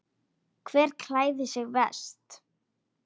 Hver klæðir sig verst?